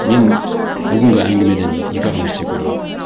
мен бүгінгі әңгімеден екі ақ нәрсе көремін